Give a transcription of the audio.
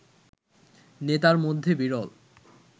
নেতার মধ্যে বিরল